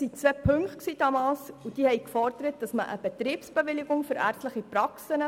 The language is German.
Die Motion forderte damals eine Betriebsbewilligung für ärztliche Praxen.